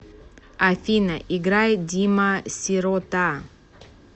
афина играй дима сирота